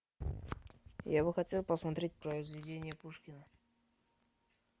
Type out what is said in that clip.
я бы хотел посмотреть произведения пушкина